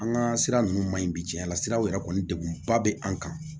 An ka sira ninnu maɲi bi cɛn na siraw yɛrɛ kɔni degun ba bɛ an kan